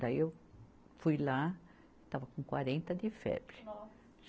Daí eu fui lá, estava com quarenta de febre. Nossa